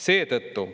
Seetõttu